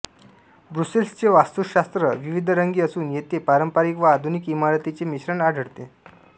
ब्रुसेल्सचे वास्तुशास्त्र विविधरंगी असून येथे पारंपरिक व आधुनिक इमारतींचे मिश्रण आढळते